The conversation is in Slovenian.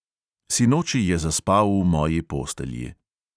Sinoči je zaspal v moji postelji.